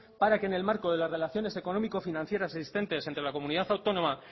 para que en el marco de las relaciones económico financieras existentes entre la comunidad autónoma